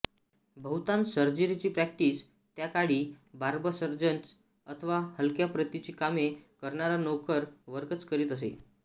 बहुतांश सर्जरीची प्रॅक्टिस त्या काळी बार्बससर्जन्स अथवा हलक्या प्रतीची कामे करणारा नोकर वर्गच करीत असे